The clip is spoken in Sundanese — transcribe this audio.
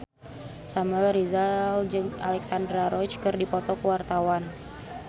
Samuel Rizal jeung Alexandra Roach keur dipoto ku wartawan